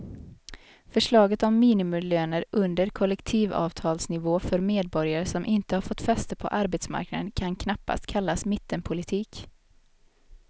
Förslaget om minimilöner under kollektivavtalsnivå för medborgare som inte har fått fäste på arbetsmarknaden kan knappast kallas mittenpolitik.